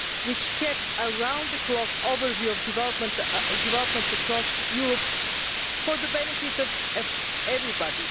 which kept a round the clock overview of developments across Europe for the benefit of everybody.